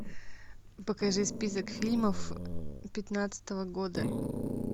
покажи список фильмов пятнадцатого года